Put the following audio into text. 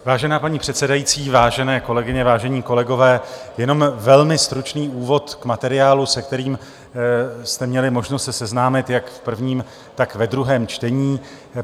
Vážená paní předsedající, vážené kolegyně, vážení kolegové, jenom velmi stručný úvod k materiálu, se kterým jste měli možnost se seznámit jak v prvním, tak ve druhém čtení.